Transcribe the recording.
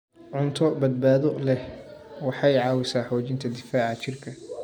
Cunto badbaado leh waxay caawisaa xoojinta difaaca jirka.